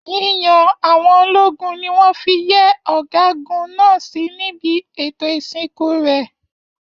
Yíyan àwọn ológun ní wọn fí yẹ ọgágun náà sí níbi ètò ìsìnkú rẹ.